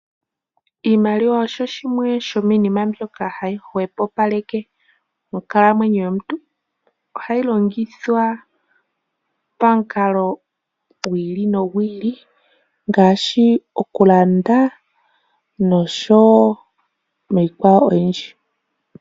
Iimaliwa osho shimwe shomiinima mbyoka hayi hwepopaleke onkalamwenyo yomuntu . Ohayi longithwa pamikalo dhili nodhili ngaashi okulanda niikwawo oyindji.